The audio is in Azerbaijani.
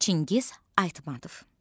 Çingiz Aytmatov.